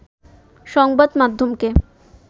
সংবাদ মাধ্যমকে